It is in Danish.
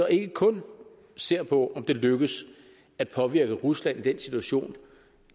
ikke kun ser på om det lykkes at påvirke rusland i den situation